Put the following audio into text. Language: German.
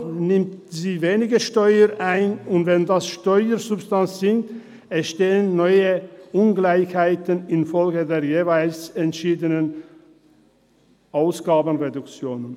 Dadurch nimmt sie weniger Steuern ein, und wenn das Steuersubstrat sinkt, entstehen neue Ungleichheiten infolge der jeweils entschiedenen Ausgabenreduktion.